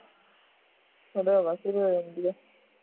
ਉਦੋਂ ਹਵਾ ਸ਼ੁਰੂ ਹੋ ਜਾਂਦੀ ਹੈ